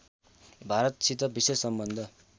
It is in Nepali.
भारतसित विशेष सम्बन्ध